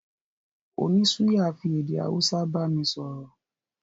Oní suya fi èdè Hausa bámi sọ̀rọ̀